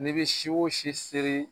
N'i bi si o si seri